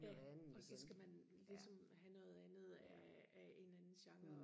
ja og så skal man ligesom have noget andet af en anden genre